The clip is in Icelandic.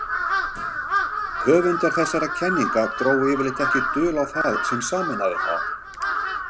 Höfundar þessara kenninga drógu yfirleitt ekki dul á það sem sameinaði þá.